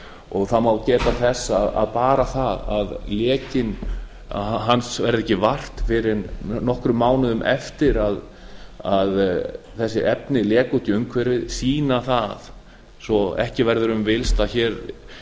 og það má geta þess að bara það að lekans verður ekki vart fyrr en nokkrum mánuðum eftir að þessi efni láku út í umhverfið sýna það svo ekki verður um villst að hér